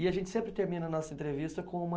E a gente sempre termina a nossa entrevista com uma.